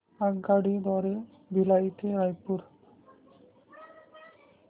आगगाडी द्वारे भिलाई ते रायपुर